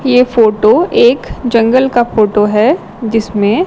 ये फोटो एक जंगल का फोटो हैं जिसमें--